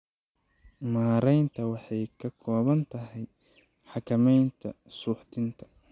Maaraynta waxay ka kooban tahay xakamaynta suuxdinta.